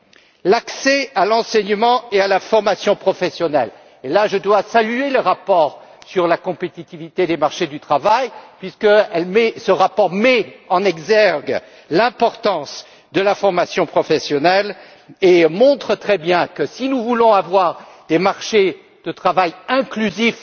Quant à l'accès à l'enseignement et à la formation professionnelle, je dois saluer le rapport sur la compétitivité des marchés du travail puisqu'il met en exergue l'importance de la formation professionnelle et montre très bien que si nous voulons avoir des marchés de travail inclusifs,